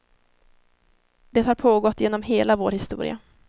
Det har pågått genom hela vår historia.